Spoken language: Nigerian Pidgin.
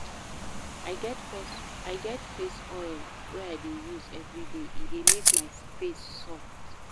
I get face oil wey I dey use everyday, e dey make my face soft.